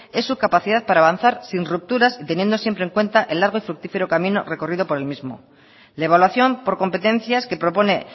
es su capacidad para avanzar sin rupturas y teniendo siempre en cuenta el largo y fructífero camino recorrido por el mismo la evaluación por competencias que propone